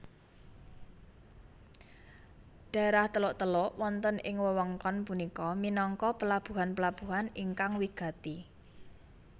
Daerah teluk teluk wonten ing wewengkon punika minangka pelabuhan pelabuhan ingkang wigati